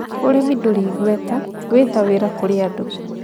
Ũrĩmi ndũrĩ igweta wĩ ta wĩra kũrĩ andũ